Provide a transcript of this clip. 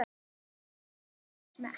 Allt fer þetta eftir smekk.